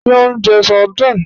Ṣé o njẹ́ sárdínè?